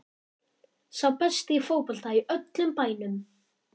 Sá besti í fótbolta í öllum bænum.